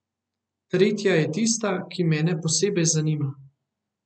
Tretja je tista, ki mene posebej zanima.